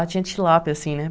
Lá tinha tilápia, assim, né?